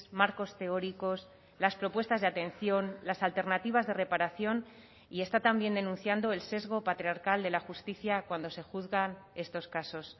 marcos teóricos las propuestas de atención las alternativas de reparación y está también denunciando el sesgo patriarcal de la justicia cuando se juzgan estos casos